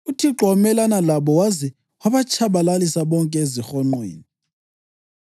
UThixo wamelana labo waze wabatshabalalisa bonke ezihonqweni.